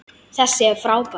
Þessi er frábær!